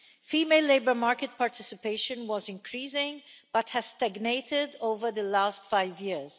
Female labour market participation was increasing, but has stagnated over the last five years.